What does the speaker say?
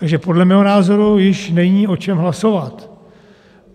Takže podle mého názoru již není o čem hlasovat.